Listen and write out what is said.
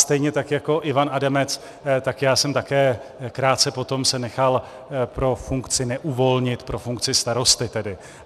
Stejně tak jako Ivan Adamec, tak já jsem také krátce potom se nechal pro funkci neuvolnit, pro funkci starosty tedy.